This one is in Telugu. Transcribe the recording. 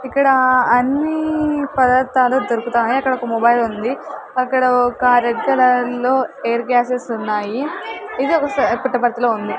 ఇక్కడ అన్ని పదార్థాలు దొరుకుతాయి అక్కడొక మొబైల్ ఉంది అక్కడొక రెడ్ కలర్ లో ఎయిర్ గ్లాస్సెస్ ఉన్నాయి ఇది ఒక సా పుట్టపర్తిలో ఉంది.